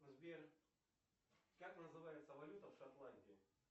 сбер как называется валюта в шотландии